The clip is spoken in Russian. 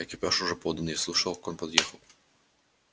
экипаж уже подан я слышал как он подъехал